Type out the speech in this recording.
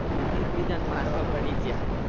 હા એક બીજા ને મારવા પડી ગયા.